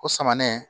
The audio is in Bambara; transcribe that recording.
O samanɛnɛ